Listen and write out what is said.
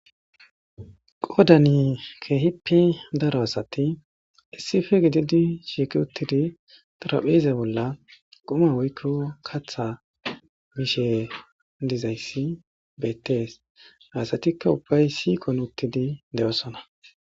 qodani keehippi daro asati issife gididi shiiki uttidi trapheze bolla qoma woykko katha mishe dizayssi beettees hasatikka ubbay siiqon uttidi de7osona